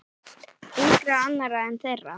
Engra annarra en þeirra.